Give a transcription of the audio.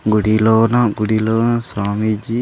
గుడిలోన గుడిలో స్వామీజీ.